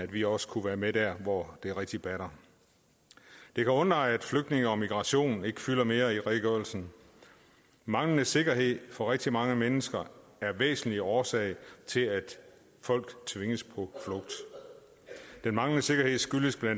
vi også kunne være med der hvor det rigtig batter det kan undre at flygtninge og migration ikke fylder mere i redegørelsen manglende sikkerhed for rigtig mange mennesker er en væsentlig årsag til at folk tvinges på flugt den manglende sikkerhed skyldes bla